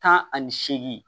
Tan ani seegin